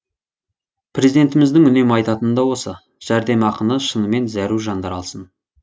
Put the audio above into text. президентіміздің үнемі айтатыны да осы жәрдемақыны шынымен зәру жандар алсын